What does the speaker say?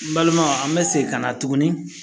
N balimaw an bɛ segin ka na tuguni